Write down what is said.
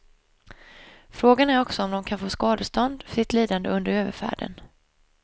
Frågan är också om de kan få skadestånd för sitt lidande under överfärden.